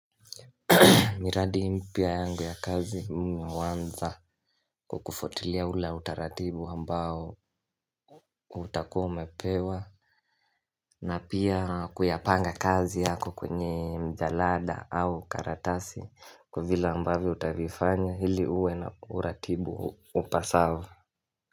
Miradi mpya yangu ya kazi mimi huanza kwa kufuatilia ula utaratibu ambao utakua umepewa na pia kuyapanga kazi yako kwenye mjalada au karatasi kwa vile ambavyo utavifanya hili uwe na uratibu upasavo.